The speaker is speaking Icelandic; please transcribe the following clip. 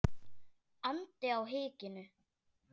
andi á hikinu.